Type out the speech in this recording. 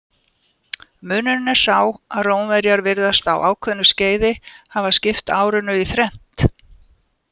Munurinn er sá að Rómverjar virðast á ákveðnu skeiði hafa skipt árinu í þrennt.